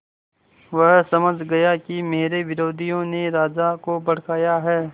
वह समझ गया कि मेरे विरोधियों ने राजा को भड़काया है